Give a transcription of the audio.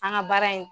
An ka baara in